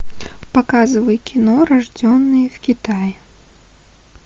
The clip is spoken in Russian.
показывай кино рожденные в китае